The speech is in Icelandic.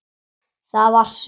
Það var Sveinn.